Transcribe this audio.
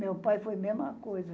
Meu pai foi a mesma coisa.